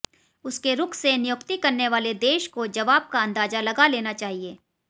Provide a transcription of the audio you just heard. उसके रुख से नियुक्ति करने वाले देश को जवाब का अंदाजा लगा लेना चाहिए